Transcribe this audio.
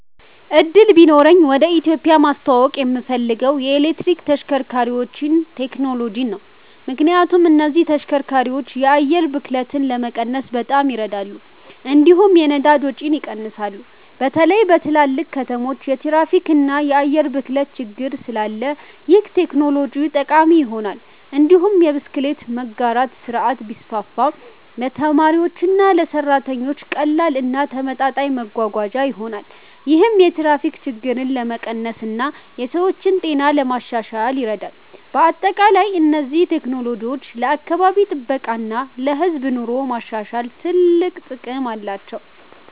እድሉ ቢኖረኝ ወደ ኢትዮጵያ ማስተዋወቅ የምፈልገው የኤሌክትሪክ ተሽከርካሪዎችን ቴክኖሎጂ ነው። ምክንያቱም እነዚህ ተሽከርካሪዎች የአየር ብክለትን ለመቀነስ በጣም ይረዳሉ፣ እንዲሁም የነዳጅ ወጪን ይቀንሳሉ። በተለይ በትልልቅ ከተሞች የትራፊክ እና የአየር ብክለት ችግር ስላለ ይህ ቴክኖሎጂ ጠቃሚ ይሆናል። እንዲሁም የብስክሌት መጋራት ስርዓት ቢስፋፋ ለተማሪዎችና ለሰራተኞች ቀላል እና ተመጣጣኝ መጓጓዣ ይሆናል። ይህም የትራፊክ ችግርን ለመቀነስ እና የሰዎችን ጤና ለማሻሻል ይረዳል። በአጠቃላይ እነዚህ ቴክኖሎጂዎች ለአካባቢ ጥበቃ እና ለህዝብ ኑሮ ማሻሻል ትልቅ ጥቅም አላቸው።